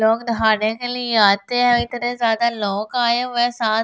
लोग नहाने के लिए आते हैं इतने ज्यादा लोग आए हुए हैं साथ--